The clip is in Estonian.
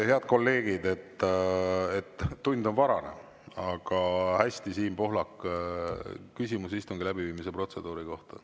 Head kolleegid, tund on varajane, aga hästi, Siim Pohlak, küsimus istungi läbiviimise protseduuri kohta.